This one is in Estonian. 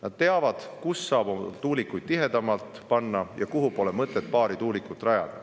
Nad teavad, kus saab tuulikuid tihedamalt panna ja kuhu pole mõtet paari tuulikut panna.